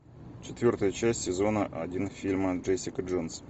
четвертая часть сезона один фильма джессика джонс